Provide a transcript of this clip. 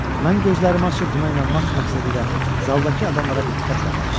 Mən gözlərimi açıb buna inanmaq məqsədilə zaldakı adamlara diqqətlə baxırdım.